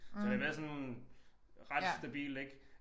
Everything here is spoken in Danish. Så det har været sådan ret stabilt ik